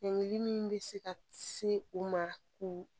Degeni min bɛ se ka se u ma k'u